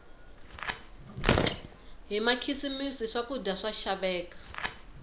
hi makhisimisi swakudya swa xaveka